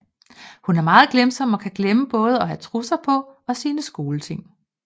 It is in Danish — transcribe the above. Hun er meget glemsom og kan glemme både at have trusser på og sine skoleting